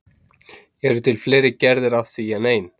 Eru til fleiri gerðir af því en ein?